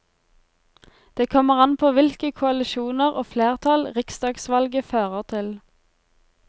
Det kommer an på hvilke koalisjoner og flertall riksdagsvalget fører til.